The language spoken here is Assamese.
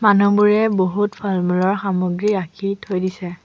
মানুহবোৰে বহুত ফল মূলৰ সামগ্ৰী ৰাখি থৈ দিছে।